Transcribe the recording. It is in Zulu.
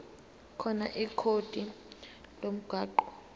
khona ikhodi lomgwaqo